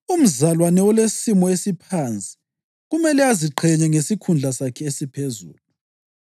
Umzalwane olesimo esiphansi kumele aziqhenye ngesikhundla sakhe esiphezulu.